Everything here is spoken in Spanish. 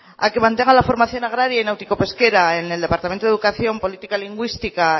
a que mantengan la formación agraria y náutico pesquera en el departamento de educación política lingüística